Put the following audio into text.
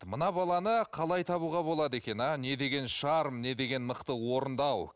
мына баланы қалай табуға болады екен а не деген шарм не деген мықты орындау